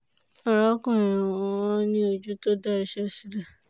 arákùnrin mi máa ń ní ojú tó da iṣẹ́ sílẹ̀